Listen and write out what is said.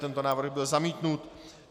Tento návrh byl zamítnut.